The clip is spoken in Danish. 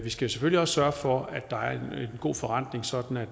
skal selvfølgelig også sørge for at der er en god forrentning sådan at